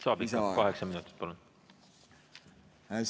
Saab lisa, kaheksa minutit, palun!